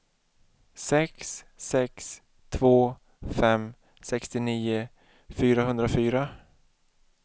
sex sex två fem sextionio fyrahundrafyra